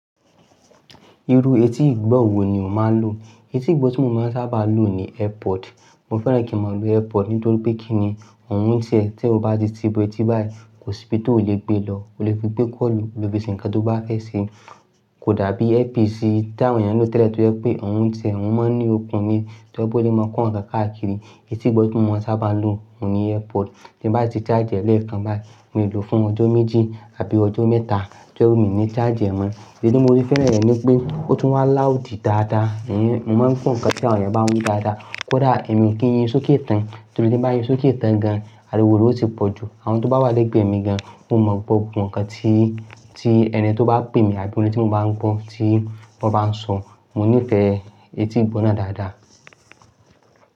Irú etí igbó wo ni o máa ń lò? Etí igbó tí mo máa ń sábà lo ni Airpod. Mo fẹ́ràn kí mo lo Airpod nítorí pé kí ni òun ń tie, tí o bá ti ti ibo etí báyìí kò síbi tí o lè gbé lọ. O lè fi gbé kọ́ọ̀lù, o lè fi ṣe nǹkan tó bá fẹ́ ṣe. Kò dàbí earpiece tí àwọn èèyàn ń lò tẹ́lẹ̀ tí ó jẹ́ pé òun ń tiẹ, òun mọ́ ní okùn ni, tíojẹ́ pé o le máa kọ́ nǹkan káàkiri. Etí igbó tí mo sábà lo ni Airpod. Tí bá ti ṣáàjì ẹ̀ lẹ́ẹ̀kan báyìí, mo lè lò fún ọjọ́ méjì àbí ọjọ́ mẹ́ta tójẹ́ pé mi ní ṣáàjì ẹ̀ mọ́. Ìdí tí mo ti fẹ́ràn rẹ̀ ni pé ó tún wá láùdí dáadáa. Èyin, mo máa ń gbọ ǹkan tí àwọn èèyàn bá ń wí dáadáa, kódà èmi kí n yí sókè tán, torí tin bá yí sókè tán gan, àríwó rẹ ó ti pọ̀jù. Àwọn tó bá wà lẹ́gbẹ̀ẹ́ mi gan, wọn ó má gbogbo ǹkan tí ẹni tí ó bá pè mi tàbí orin tí mo bá ń gbọ́ tí wọ́n bá ń sọ. Mo nífẹ̀ẹ́ etí igbó náà dáadáa.